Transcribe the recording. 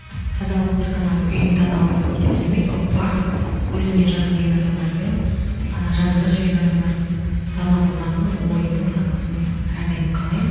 тазалық тек қана ол үйдің тазалығымен есептелмейді ол барлық өзіме жақын деген адамдардың і жанымда жүрген адамдардың таза болғанын ойының санасының әрдайым қалаймын